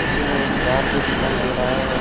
उसी में एक जाल भी दिखाई दे रहा है।